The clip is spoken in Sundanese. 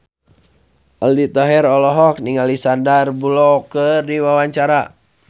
Aldi Taher olohok ningali Sandar Bullock keur diwawancara